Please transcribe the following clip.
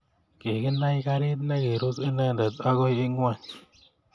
Kikinai gariit ne kirus inendet akoi ing'weny.